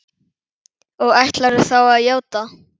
Og ætlarðu þá að játa?